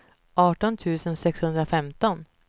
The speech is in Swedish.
arton tusen sexhundrafemton